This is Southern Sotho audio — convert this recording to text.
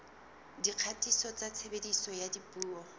dikgatiso tsa tshebediso ya dipuo